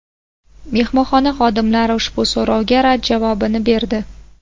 Mehmonxona xodimlari ushbu so‘rovga rad javobini berdi.